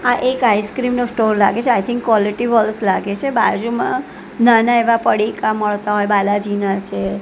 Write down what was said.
આ એક આઈસ્ક્રીમ નો સ્ટોલ લાગે છે આઈ થિન્ક ક્વોલિટી વોલ્ટ્સ લાગે છે બાજુમાં નાના એવા પડીકા મળતા હોઇ બાલાજીના છે.